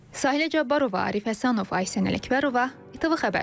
Sahilə Cabbarova, Arif Həsənov, Aysən Ələkbərova, İTV Xəbər.